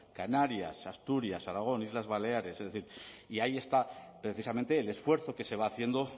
canarias asturias aragón islas baleares es decir y ahí está precisamente el esfuerzo que se va haciendo